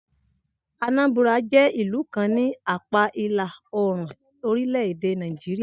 Anambra jẹ́ ìlú kan ni apáa ìlà oòrùn orílẹ̀-èdè Nàìjíríà